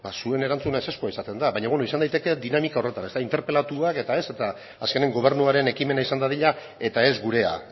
zuen erantzuna ezezko izaten da baina izan daiteke dinamika horretan ezta interpelatua eta ez eta azkenen gobernuaren ekimena izan dadila eta ez gurea